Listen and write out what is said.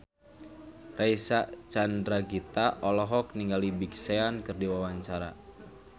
Reysa Chandragitta olohok ningali Big Sean keur diwawancara